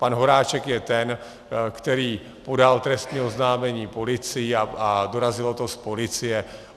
Pan Horáček je ten, který podal trestní oznámení policii, a dorazilo to z policie.